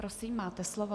Prosím, máte slovo.